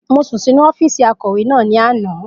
Mo sùn sínu ọ́fìsì akọ̀wé náà ní àná